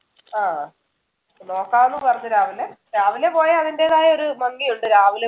ആഹ് നോക്കാം എന്ന് പറഞ്ഞു രാവിലെ. രാവിലെ പോയാൽ അതിന്‍ടെതായൊരു ഭംഗിയുണ്ട് രാവിലെ